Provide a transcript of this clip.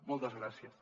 moltes gràcies